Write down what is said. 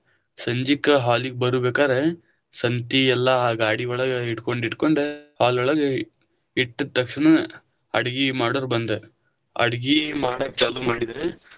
ಸಂಜೀಕ hall ಗ ಬರುಬೇಕಾದ್ರ, ಸಂತಿ ಎಲ್ಲ ಆ ಗಾಡಿ ಒಳಗ ಇಟ್ಕೊಂಡ ಇಟ್ಕೊಂಡ, hall ಒಳಗ ಇಟ್ಟ ತಕ್ಷಣಾನ ಅಡಗಿ ಮಾಡೋರ ಬಂದ್ರ ಅಡಗಿ ಮಾಡಾಕ್ ಚಾಲು ಮಾಡಿದ್ರ.